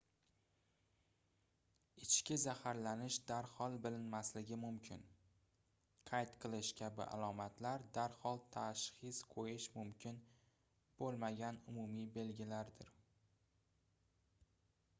ichki zaharlanish darhol bilinmasligi mumkin qayt qilish kabi alomatlar darhol tashxis qoʻyish mumkin boʻlmagan umumiy belgilardir